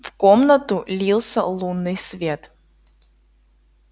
в комнату лился лунный свет